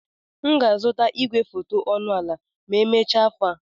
M ga-azụta igwefoto ọnụ ala ma emechaa afọ a.